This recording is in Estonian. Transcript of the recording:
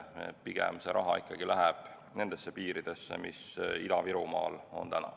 Pigem läheb see raha ikkagi nendesse piiridesse, mis Ida-Virumaal on täna.